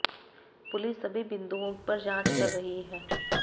police सभी बिंदुओं पर जांच कर रही है